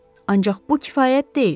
Ancaq bu kifayət deyil.